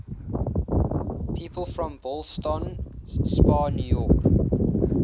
people from ballston spa new york